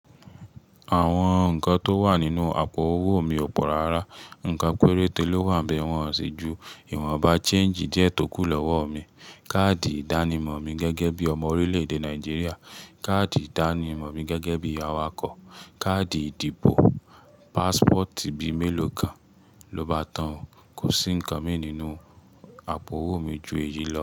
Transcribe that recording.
Àwọn nǹkan tó wà nínú àpò owó mi ò pọ̀ rárá. Ǹkan péréte ló wà n be wọ́n ṣi ju ìwọn bá change diẹ́ tó kù lọ́wọ́ mi. Káàdì ìdánimọ̀ mi gẹ́gẹ́ bí ọmọ orílẹ̀-èdè Nàìjíríà, káàdì ìdánimọ̀ mi gẹ́gẹ́ bí awakọ̀, káàdì ìdìbò, passport bí mélòó kan ló bá tán o, kò sí ǹkan mí nínú àpò owó mi ju èyí lọ.